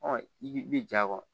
Ɔ i bɛ ja kɔ